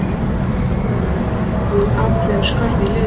Það eru höggvin ákveðin skörð í liðið.